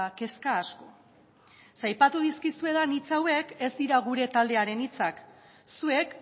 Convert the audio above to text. kezka asko aipatu dizkizuedan hitz hauek ez dira gure taldearen hitzak zuek